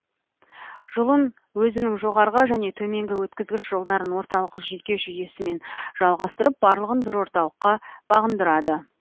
жұлын өзінің жоғарғы және төменгі өткізгіш жолдарын орталық жүйке жүйесімен жалғастырып барлығын бір орталыққа бағындырады